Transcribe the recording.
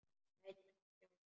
Lætur ekki sjá sig.